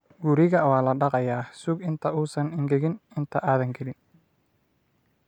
Guriga waa la dhaqayaa, sug inta uusan engegin inta aadan gelin.